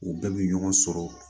U bɛɛ bɛ ɲɔgɔn sɔrɔ